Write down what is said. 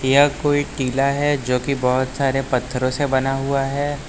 यह कोई टीला है जो की बहोत सारे पत्थरों से बना हुआ है।